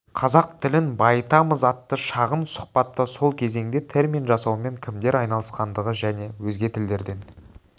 қазақ тілін байытамыз атты шағын сұхбатта сол кезеңде термин жасаумен кімдер айналысқандығы және өзге тілдерден